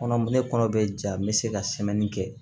Kɔnɔ ne kɔnɔ be ja n be se ka kɛ